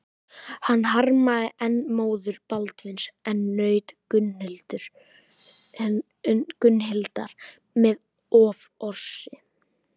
Hann harmaði enn móður Baldvins en naut Gunnhildar með offorsi.